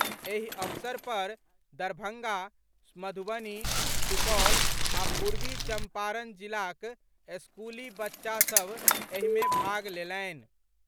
एहि अवसर पर दरभंगा, मधुबनी, सुपौल आ पूर्वी चंपारण जिलाक स्कूली बच्चा सभ एहि मे भाग लेलनि।